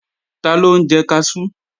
Taló ń jẹ kaṣú?